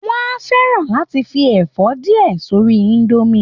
Wọ́n á fẹ́ràn láti fi ẹ̀fọ́ díẹ̀ sórí indomie